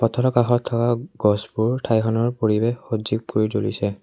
পথাৰৰ কাষত থকা গছবোৰ ঠাইখনৰ পৰিৱেশ সজীৱ কৰি তুলিছে।